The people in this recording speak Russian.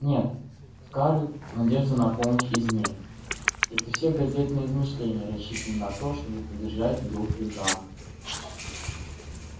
нет скарлетт надежда на помощь извне это все газетные измышления рассчитанные на то чтобы поддержать дух южан